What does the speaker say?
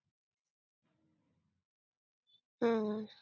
हम्म